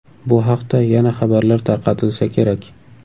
Bu haqda yana xabarlar tarqatilsa kerak.